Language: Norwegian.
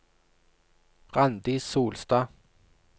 Randi Solstad